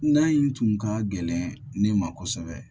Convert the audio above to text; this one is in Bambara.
N'a in tun ka gɛlɛn ne ma kosɛbɛ